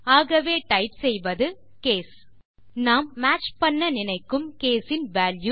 ஆகவே டைப் செய்வது கேஸ் நாம் மேட்ச் செய்ய நினைக்கும் கேஸ் இன் வால்யூ